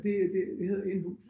Det det det hedder en hus